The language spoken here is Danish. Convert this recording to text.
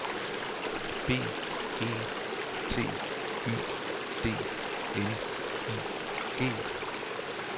B E T Y D N I G